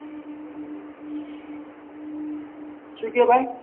શું કેહ ભાઈ